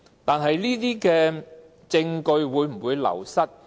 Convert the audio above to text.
但證據會否流失呢？